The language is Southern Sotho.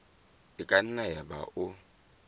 e ka nna yaba o